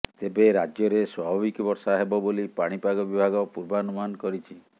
ତେବେ ରାଜ୍ୟରେ ସ୍ୱାଭାବିକ ବର୍ଷା ହେବ ବୋଲି ପାଣିପାଗ ବିଭାଗ ପୂର୍ବାନୁମାନ କରିଛି